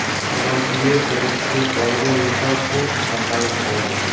Avvalgi versiyadagi silliqlangan metal korpus saqlanib qoldi.